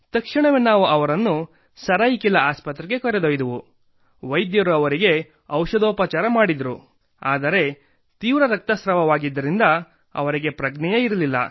ತಕ್ಷಣವೇ ನಾವು ಅವರನ್ನು ಸರಾಯಿಕೆಲಾ ಆಸ್ಪತ್ರೆಗೆ ಕರೆದೊಯ್ದೆವು ವೈದ್ಯರು ಅವರಿಗೆ ಔಷಧೋಪಚಾರ ಮಾಡಿದರು ಆದರೆ ತೀವ್ರ ರಕ್ತಸ್ರಾವವಾಗಿದ್ದರಿಂದ ಅವರಿಗೆ ಪ್ರಜ್ಞೆಯೇ ಇರಲಿಲ್ಲ